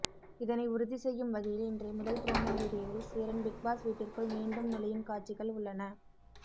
இதனை உறுதி செய்யும் வகையில் இன்றைய முதல் புரோமோ வீடியோவில் சேரன் பிக்பாஸ் வீட்டிற்குள் மீண்டும் நுழையும் காட்சிகள் உள்ளன